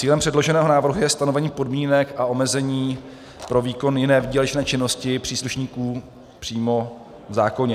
Cílem předloženého návrhu je stanovení podmínek a omezení pro výkon jiné výdělečné činnosti příslušníků přímo v zákoně.